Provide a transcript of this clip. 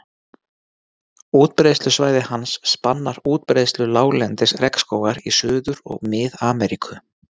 Útbreiðslusvæði hans spannar útbreiðslu láglendis regnskógar í Suður- og Mið-Ameríku.